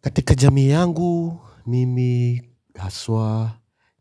Katika jamii yangu mimi haswa